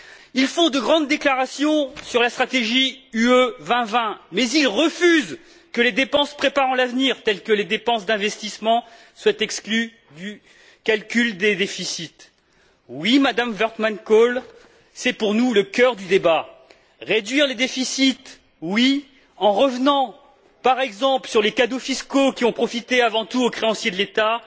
Ils font de grandes déclarations sur la stratégie Europe 2020, mais ils refusent que les dépenses préparant l'avenir, telles que les dépenses d'investissement, soient exclues du calcul des déficits. Oui, Madame Wortmann Kool, c'est pour nous le cœur du débat! Réduire les déficits, oui, en revenant par exemple sur les cadeaux fiscaux qui ont profité avant tout aux créanciers de l'État,